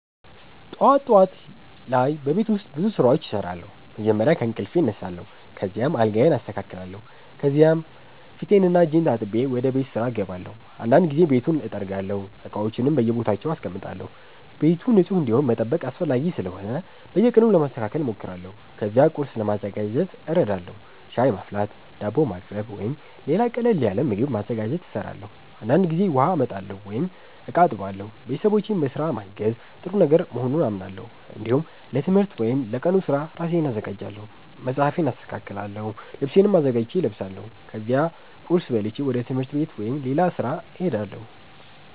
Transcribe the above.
ጠዋት ጠዋት ላይ በቤት ውስጥ ብዙ ስራዎች እሰራለሁ። መጀመሪያ ከእንቅልፌ እነሳለሁ፣ ከዚያም አልጋዬን አስተካክላለሁ። ከዚያ ፊቴንና እጄን ታጥቤ ወደ ቤት ስራ እገባለሁ። አንዳንድ ጊዜ ቤቱን እጠርጋለሁ፣ እቃዎችንም በየቦታቸው አስቀምጣለሁ። ቤቱ ንጹህ እንዲሆን መጠበቅ አስፈላጊ ስለሆነ በየቀኑ ለማስተካከል እሞክራለሁ። ከዚያ ቁርስ ለማዘጋጀት እረዳለሁ። ሻይ ማፍላት፣ ዳቦ ማቅረብ ወይም ሌላ ቀላል ምግብ ማዘጋጀት እሰራለሁ። አንዳንድ ጊዜ ውሃ አመጣለሁ ወይም እቃ አጥባለሁ። ቤተሰቦቼን በስራ ማገዝ ጥሩ ነገር መሆኑን አምናለሁ። እንዲሁም ለትምህርት ወይም ለቀኑ ስራ ራሴን አዘጋጃለሁ። መጽሐፌን አስተካክላለሁ፣ ልብሴንም አዘጋጅቼ እለብሳለሁ። ከዚያ ቁርስ በልቼ ወደ ትምህርት ወይም ወደ ሌላ ስራ እሄዳለሁ።